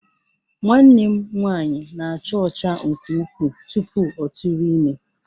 Nwanne m nwanyị na-acha ọcha nke ukwuu tupu ọ tụrụ ime